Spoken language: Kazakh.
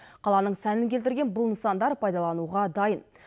қаланың сәнін келтірген бұл нысандар пайдалануға дайын